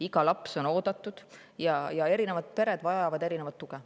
Iga laps on oodatud ja erinevad pered vajavad erinevat tuge.